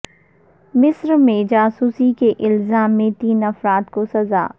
مصر میں جاسوسی کے الزام میں تین افراد کو سزا